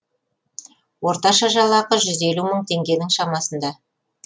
орташа жалақы жүз елу мың теңгенің шамасында